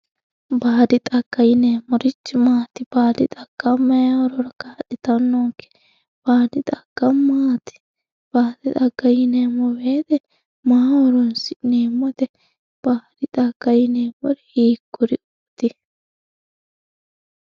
baadi xagga yineemmorichi maati baadi xagga mayii horora kaa'litannonke baadi xagga maati baadi xagga yineemmo woyiite maaho horoonsi'neemmote baadi xagga yineemmoti hiikkuriiti